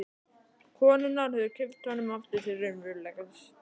Konurnar höfðu kippt honum aftur til raunveruleikans.